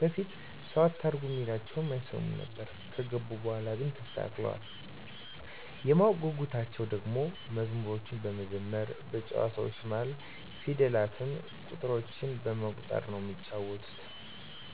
በፊት ሰዉ አታርጉ እሚላቸዉን አይሰሙም ነበር ከገቡ በኋላ ግን ተስተካክለዋል። የማወቅ ጉጉታቸዉ ደሞ መዝሙሮችን በመዘመር በጨዋታዎች መሀል ፊደላትን፣ ቁጥሮችን በመቁጠር ነዉ እሚጫወቱት።